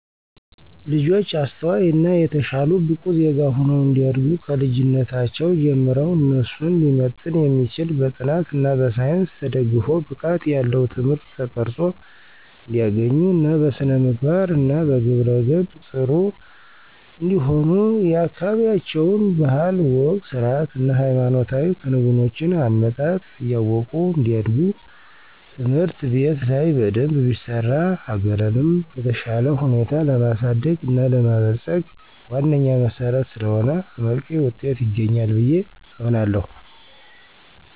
ልጆች አስተዋይ እና የተሻሉ ብቁ ዜጋ ሁነው እንዲያድጉ ከልጅነታቸው ጀምረው እነሱን ሊመጥን የሚችል በጥናት እና በሳይንስ ተደግፎ ብቃት ያለው ትምህርት ተቀረፆ እንዲያገኙ እና በስነምግባር እና በግብረ ገብ ጥሩ እንዲሆኑ የአካበቢያቸውን ባህል፣ ወግ፣ ስርአት እና ሃይማኖታዊ ክንውኖችን(አመጣጥ) እያወቁ እንዲያድጉ ትምህርት ቤት ላይ በደንብ ቢሰራ ሀገርንም በተሻለ ሁኔታ ለማሳደግ እና ለማበልፀግ ዋነኛ መሰረት ስለሆነ አመርቂ ዉጤት ይገኛል ብየ አምናለሁ።